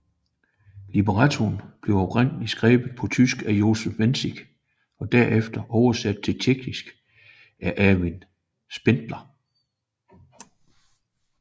Librettoen blev oprindelig skrevet på tysk af Josef Wenzig og derefter oversat til tjekkisk af Ervin Spindler